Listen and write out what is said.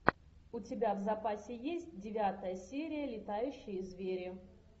у тебя в запасе есть девятая серия летающие звери